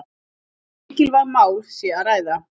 Um mikilvæg mál sé að ræða